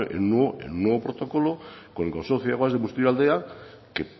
en un nuevo protocolo con el consorcio de aguas de busturialdea que